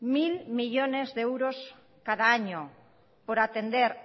mil millónes de euros cada año por atender